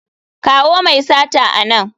Kawo mai sata a nan!